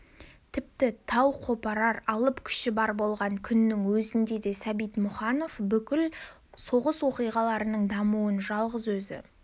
тіпті тау қопарар алып күші бар болған күннің өзінде де сәбит мұқанов бүкіл соғыс оқиғаларының дамуын жалғыз өзі